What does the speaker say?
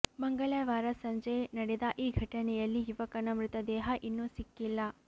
ಮಂಗಳವಾರ ಸಂಜೆ ನಡೆದ ಈ ಘಟನೆಯಲ್ಲಿ ಯುವಕನ ಮೃತದೇಹ ಇನ್ನೂ ಸಿಕ್ಕಿಲ್ಲ